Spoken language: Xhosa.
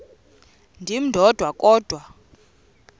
ndim ndodwa kodwa